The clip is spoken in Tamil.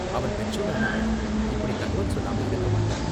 அவன் மெச்சூரான ஆளு, இப்படி தகவல் சொல்லாம இருக்க மாட்டான்.